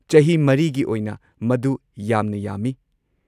ꯆꯍꯤ ꯴ꯒꯤ ꯑꯣꯏꯅ, ꯃꯗꯨ ꯌꯥꯝꯅ ꯌꯥꯝꯃꯤ꯫